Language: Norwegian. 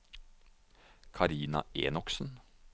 Karina Enoksen